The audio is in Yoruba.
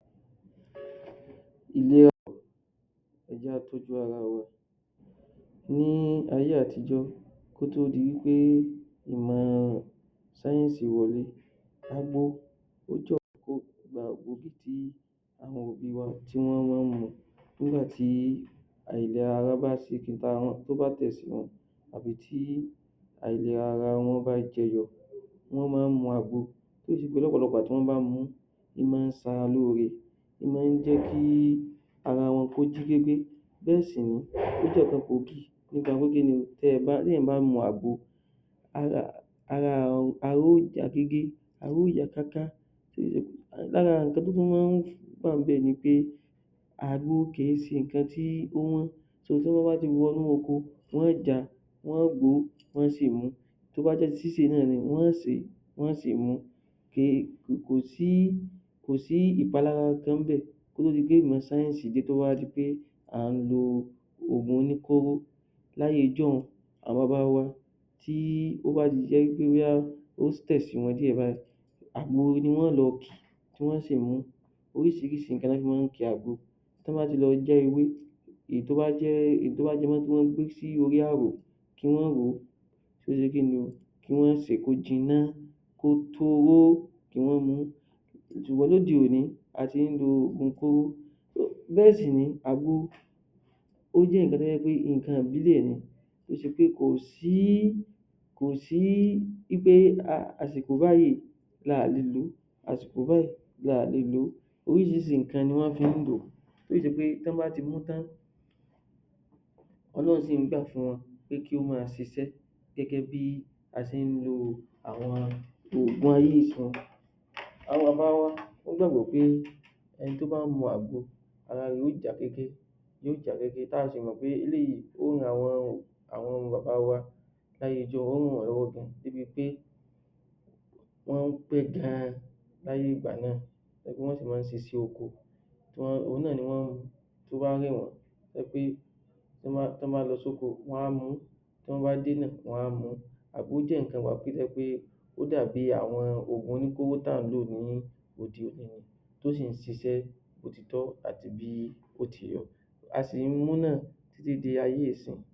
Ẹ jẹ́ ká tọ́jú ara wa, ní ayé àtijọ́ kó tó di wí pé ìmọ̀ sáyẹ́nsì wọlé, agbo ó jẹ́ nǹkan gbòógì tí àwọn òbí wa tí wọ́n máa ń mù tí àìlera tí ó bá tẹ̀ sí wọn àbí tí àìlera ara wọn bá jẹyọ, wọ́n mọ́ ọ ń mu àgbo tó sì ṣe pé ọ̀pọ̀lọpọ̀ ìgbà tí wọ́n bá mú u ó mọ́ ń ṣe ara lóore, ó mọ́ ń jẹ́ kí ara wọn kó jí pépé bẹ́ẹ̀ sì nìyí ó jẹ́ nǹkan gbòógì nípa pé kíni o? Tí èèyàn bá mu àgbo, ara ara yóò já kéké ara yóò yá káká tí ì ṣe, lára nǹkan tó tún máa ń wà níbẹ̀ ni pé, àgbo kè é ṣe nǹkan tó wọ́n, so tán bá ti wọnú oko wọn yóò ja wọn yóò gbó wọn yóò sì mu ú, tó bá jẹ́ ti sísè náà ni wọn yóò sè é wọn yóò sì mu ú, kè é kò sí ìpalára kankan ń bẹ̀ kó tó di pé ìmọ̀ sáyẹ́nsì dé tó wá di pé à ń lo ògùn oníkóró. Láyé ọjọ́un àwọn baba wa tó bá ti jẹ́ wí pé ó tẹ̀ sí wọn díẹ̀ báìí àgbo ni wọn yóò lọ kì tí wọn yóò sì mu ú, oríṣìíríṣìí nǹkan ni wọ́n fi mọ́ ń ki àgbo, tán bá ti lọ já ewé èyí tí wọ́n mọ́ ń gbé sórí àrò kí wọ́n wò ó, kí wọ́n ṣe kín ni o? kí wọ́n sè é kó jiná kó toró kí wọ́n mu ú, ṣùgbọ́n lóde òní a ti ń lo ògùn kóró, bẹ́ẹ̀ sì nìyí, àgbo ó jẹ́ nǹkan tó ṣe wí pé nǹkan ìbílẹ̀ ni kò sí wí pé àsìkò báìí la ò le lò ó àsìkò báìí la ò le lò ó, oríṣìíríṣìí nǹkan ná fi ń lò ó tó sì ṣe pé tán bá ti mú tán Ọlọ́run sì ń gbà fún wọn pé kí ó máa ṣiṣẹ́ gẹ́gẹ́ bí a ṣe ń lo ògùn ayé ìsinyìí, àwọn bàbá wa wọ́n gbàgbọ́ pé ẹni tó bá mu àgbo ara rẹ̀ yóò já kéké ara rẹ̀ yóò já kéké, ta sì mọ̀ pé eléyìí ó ran àwọn bàbá wa ó ràn wọ́n lọ́wọ́ gan-an láyé ijọ́un wọ́n ń pẹ́ gan-an láyé ìgbà náà tó sì jẹ́ wí pé wọ́n ń ṣiṣẹ́ oko tí wọ́n òhun náà tí ó bá rẹ̀ wọ́n tó jẹ́ pé tán bá lọ sóko wọ́n á mu ú tán bá dé náà wọ́n á mu ú àgbo dàbí nǹkan ìwàsílẹ̀ ó dàbí ògùn oníkóró tà ń lò láyé òde òní ni tó sì ń ṣiṣẹ́ bó ti tọ́ àti bó ti yẹ, a sì ń mu ú náà di ayé ìsinyìí.